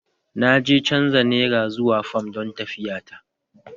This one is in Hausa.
Na je canza Nera zuwa fam don tafiyata